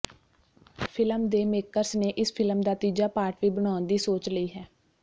film ਦੇ makers ਨੇ ਇਸ ਫ਼ਿਲਮ ਦਾ ਤੀਜਾ ਪਾਰਟ ਵੀ ਬਣਾਉਣ ਦੀ ਸੋਚ ਲਈ ਹੈ